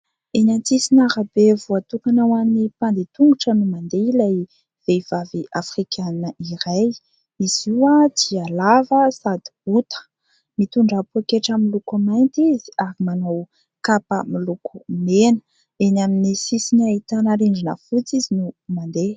Eny an-tsisina arabe voatokana ho an'ny mpandeha tongotra no mandeha ilay vehivavy Afrikana iray. Izy io dia lava sady bota mitondra poaketra miloko mainty izy ary manao kapa miloko mena, eny amin'ny sisina ahitana rindrina fotsy izy no mandeha.